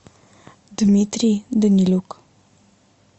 дмитрий данилюк